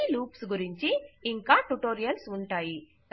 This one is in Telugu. ఈ లూప్స్ గురించి ఇంకా ట్యుటోరియల్స్ ఉంటాయి